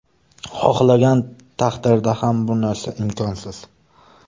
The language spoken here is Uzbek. Xohlagan taqdirida ham bu narsa imkonsiz.